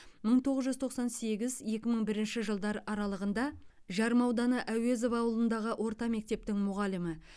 мың тоғыз жүз тоқсан сегіз екі мың бірінші жылдар аралығында жарма ауданы әуезов ауылындағы орта мектептің мұғалімі